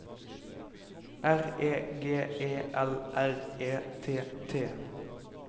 R E G E L R E T T